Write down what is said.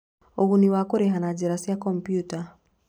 Ũguni wa kũrĩha na njĩra cia kompiuta: